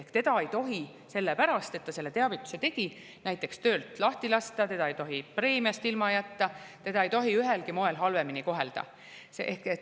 Ehk teda ei tohi sellepärast, et ta selle teavituse tegi, näiteks töölt lahti lasta, teda ei tohi preemiast ilma jätta, teda ei tohi ühelgi moel halvemini kohelda.